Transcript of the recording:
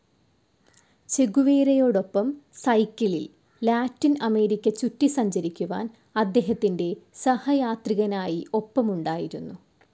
ചെഗുവേരയോടൊപ്പം സൈക്കിളിൽ Latin America ചുറ്റി സഞ്ചരിക്കുവാൻ അദ്ദേഹത്തിൻ്റെ സഹയാത്രികനായി ഒപ്പമുണ്ടായിരുന്നു.